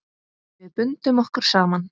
Við bundum okkur saman.